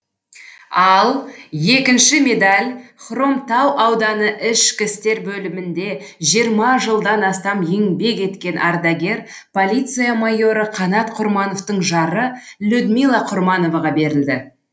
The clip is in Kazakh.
ал екінші медаль хромтау ауданы ішкі істер бөлімінде жиырма жылдан астам еңбек еткен ардагер полиция майоры қанат құрмановтың жары людмила құрмановаға берілді